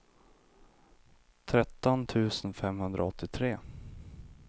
tretton tusen femhundraåttiotre